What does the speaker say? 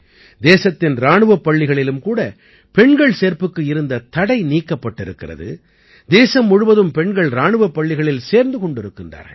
தேசத்தின் இராணுவப் பள்ளிகளிலும் கூட பெண்கள் சேர்ப்புக்கு இருந்த தடை நீக்கப்பட்டிருக்கிறது தேசம் முழுவதும் பெண்கள் இராணுவப் பள்ளிகளில் சேர்ந்து கொண்டிருக்கின்றார்கள்